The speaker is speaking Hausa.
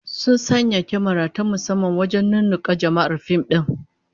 Sun sanya kyamara ta musamman wajen nunnunka jama'ar fim din